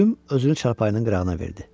Pülüm özünü çarpayının qırağına verdi.